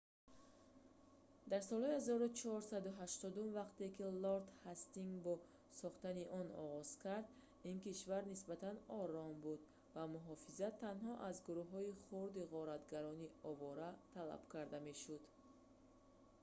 дар солҳои 1480-ум вақте ки лорд ҳастингс ба сохтани он оғоз кард ин кишвар нисбатан ором буд ва муҳофизат танҳо аз гурӯҳҳои хурди ғоратгарони овора талаб карда мешуд